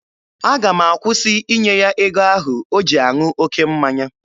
Aga m akwụsị ịnye ya ego ahụ o ji aṅụ oke mmanya.